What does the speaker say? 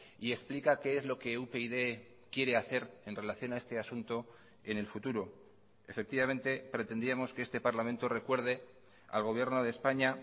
y explica qué es lo que upyd quiere hacer en relación a este asunto en el futuro efectivamente pretendíamos que este parlamento recuerde al gobierno de españa